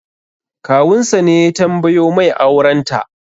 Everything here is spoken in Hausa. Kawun sa ne ya tambayo mai auren ta